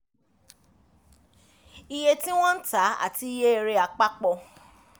iye tí wọ́n ń tá àti iye èrè àpapọ̀